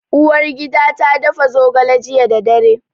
Uwargida ta dafa zogale jiya da dare.